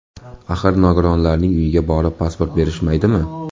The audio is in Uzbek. Axir, nogironlarning uyiga borib pasport berishmaydimi?